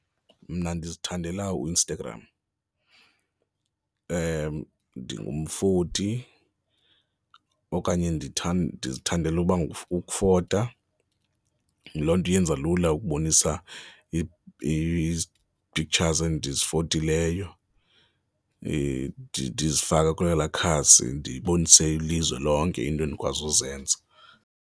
Mna ndizithandela uInstagram. Ndingumfoti okanye ndizithandela ukufota, loo nto yenza lula ukubonisa iiphiktshazi endizifotileyo, ndizifaka kwelaa khasi, ndibonise ilizwe lonke iinto endikwazi uzenza.